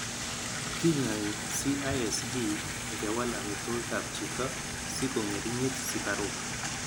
Kinyai CISD ngewal amitwogikab chito siko ng'ering'it sikaruk .